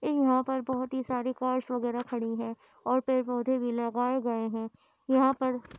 यहाँ पर बोहोत ही सारी कार्स वगैरह खड़ी है ओर पेड़-पोधे भी लगाए गए है यहाँ पर --